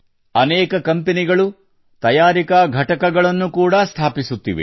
ಅನೇಕ ಕಂಪೆನಿಗಳು ತಯಾರಿಕಾ ಘಟಕಗಳನ್ನು ಕೂಡಾ ಸ್ಥಾಪಿಸುತ್ತಿವೆ